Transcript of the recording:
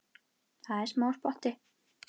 Það er smá spotti.